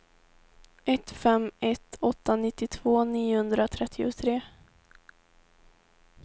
ett fem ett åtta nittiotvå niohundratrettiotre